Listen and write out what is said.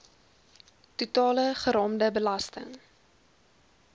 totale geraamde belasting